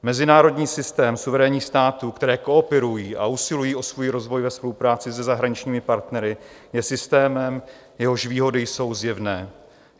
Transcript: Mezinárodní systém suverénních států, které kooperují a usilují o svůj rozvoj ve spolupráci se zahraničními partnery, je systémem, jehož výhody jsou zjevné.